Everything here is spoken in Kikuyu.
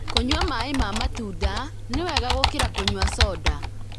Kũnyua maĩ ma matunda nĩ wega gũkĩra kũnyua soda.